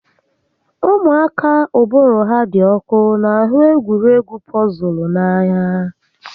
Ụmụaka uụbụrụ ha dị ọkụ n'ahụ egwuregwu pọzụl n'anya